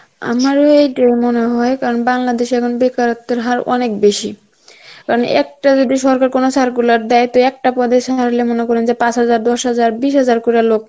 আমারও এটাই মনে হয় কারণ বাংলাদেশের এখন বেকারত্বের হার অনেক বেশি, কারণ একটা যদি সরকার কোনো circular দেয় তো একটা পদে ছাড়লে মানে করেন যে পাঁচ হাজার, দশ হাজার, Hindi হাজার করে লোক